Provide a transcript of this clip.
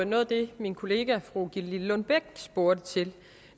noget af det min kollega fru gitte lillelund bech spurgte til